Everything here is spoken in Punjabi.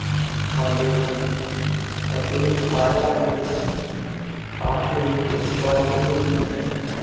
ਖਾਂਦੇ ਹਨ ਅਤੇ ਸਾਰਿਆਂ ਨੂੰ ਹੀ ਆਪਸ ਵਿੱਚ ਵੰਡਦੇ ਵੀ ਹਨ।